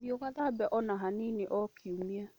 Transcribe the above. Thiĩ ũgathambe o na hanini o kiumia.